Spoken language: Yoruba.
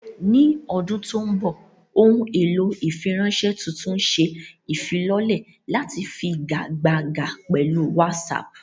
Ní ọdún tó ń bọ̀, ohun èlò ìfiránṣẹ́ tuntun ń ṣe ìfilọ́lẹ̀ láti figagbága pẹ̀lú WhatsApp.